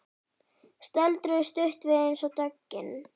Stöldruðu stutt við eins og döggin.